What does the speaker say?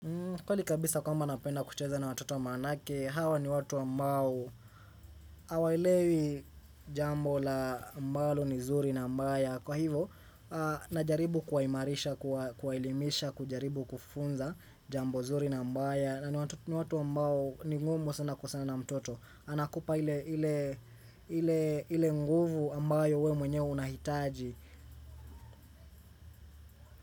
Kweli kabisa kwamba napenda kucheza na watoto wa manake, hawa ni watu wa ambao, hawaelewi jambo la ambalo ni zuri na mbaya. Kwa hivo, najaribu kuwa imarisha, kuwaelimisha, kujaribu kufunza jambo zuri na mbaya. Na ni watu ambao ni ngumu sana kukosana na mtoto. Anakupa ile nguvu ambayo we mwenye unahitaji.